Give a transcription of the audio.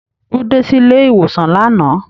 Ó dé silé-ìwòsàn lánàá.